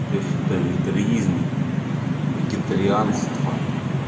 я считаю это реализм вегетарианство